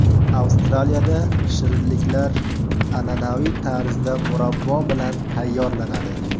Avstraliyada shirinliklar an’anaviy tarzda murabbo bilan tayyorlanadi.